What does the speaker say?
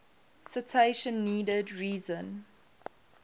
citation needed reason